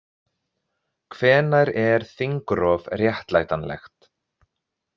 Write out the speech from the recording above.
Hvenær er þingrof réttlætanlegt?